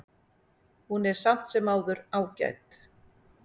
Hún er samt sem áður ágæt.